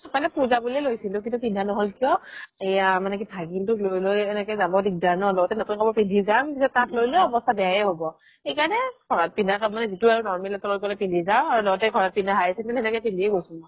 মানে পুজা বুলিয়ে লৈছিলো কিন্তু পিন্ধা নহ'ল কিয় এইয়া মানে কি ভাগিনটোক লই লই এনেকে যাব দিগদাৰ ন নতুন নতুন কাপোৰ পিন্ধি যাম তাক লই লই অৱ্স্থা বেয়াই হ'ব সেইকাৰণে ঘৰত পিন্ধা কাপোৰে যিতো আৰু normal য়ে তলে তলে পিন্ধি যাও আৰু লগতে ঘৰত পিন্ধা হাৱাই sandal সেনেকে পিন্ধিয়ে গৈছো